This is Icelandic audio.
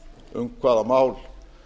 um hvaða mál